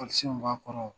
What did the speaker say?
b'a kɔnɔ